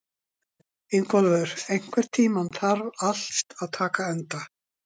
Ingólfur, einhvern tímann þarf allt að taka enda.